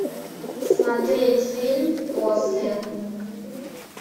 смотреть фильм после